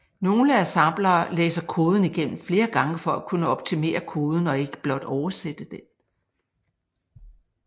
Nogle assemblere læser koden igennem flere gange for at kunne optimere koden og ikke blot oversætte den